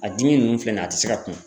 A dimi nunnu filɛ nin ye a ti se ka kun